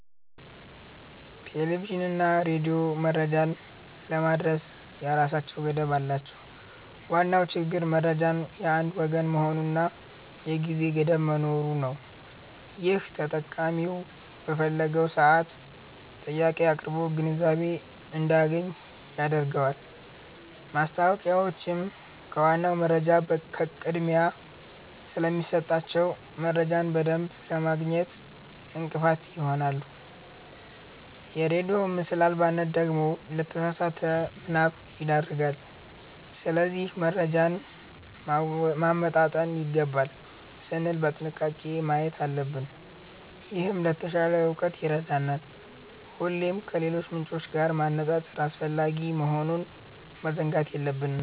ቴሌቪዥንና ሬዲዮ መረጃን ለማድረስ የራሳቸው ገደብ አላቸው። ዋናው ችግር መረጃው የአንድ ወገን መሆኑና የጊዜ ገደብ መኖሩ ነው፤ ይህም ተጠቃሚው በፈለገው ሰዓት ጥያቄ አቅርቦ ግንዛቤ እንዳያገኝ ያደርገዋል። ማስታወቂያዎችም ከዋናው መረጃ ቅድሚያ ስለሚሰጣቸው፣ መረጃን በደንብ ለማግኘት እንቅፋት ይሆናሉ። የሬዲዮ ምስል አልባነት ደግሞ ለተሳሳተ ምናብ ይዳርጋል። ስለዚህ መረጃን ማመጣጠን ይገባል ስንል በጥንቃቄ ማየት አለብን፤ ይህም ለተሻለ እውቀት ይረዳናል። ሁሌም ከሌሎች ምንጮች ጋር ማነጻጸር አስፈላጊ መሆኑን መዘንጋት የለብንም።